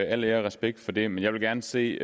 al ære og respekt for det men jeg vil gerne se